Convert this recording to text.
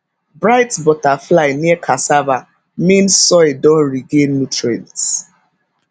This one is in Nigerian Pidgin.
bright butterfly near cassava mean soil don regain nutrients